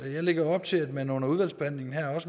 jeg lægger op til at man under udvalgsbehandlingen